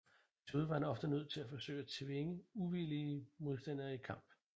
Desuden var han ofte nødt til at forsøge at tvinge uvillige modstandere i kamp